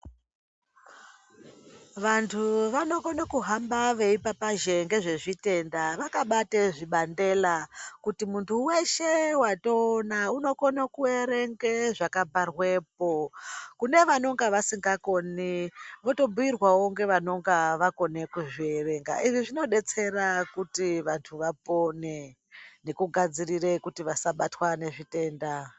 Vantu vanokone kuhamba veipapazha ngezvezvitenda vakabata zvibandela kuti muntu weshe watoona unokona kuerenge zvakabharwapo. Kune vanonge vasikakoni votobhiirwawo ngevanonga vakona kuzvierenga izvi zvinodetsera kuti vantu vapone nekugadzirira kuti vasabatwe ngezvitenda